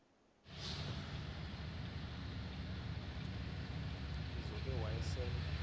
lizo ke wayesel